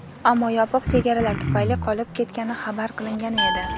ammo yopiq chegaralar tufayli qolib ketgani xabar qilingani edi.